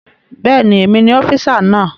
Bẹ́ẹ̀ni, èmi ni ọ́físà náà